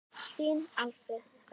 Þinn Alfreð Ragnar.